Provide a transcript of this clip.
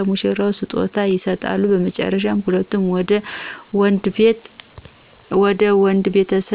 ለሙሽራው ስጦታ ይሰጡታ በመጨረሻ ሁለቱም ወደ ወንድ ቤተሰብ ይሆዳሉ ትዳራቸውን ይጀምራሉ።